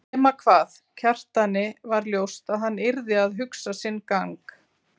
Nema hvað, Kjartani var ljóst að hann yrði að hugsa sinn gang.